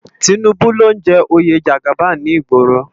Tinubu ló n jè óyé jàgábán ni igbòró